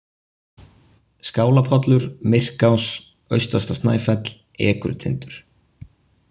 Skálapollur, Myrkás, Austasta Snæfell, Ekrutindur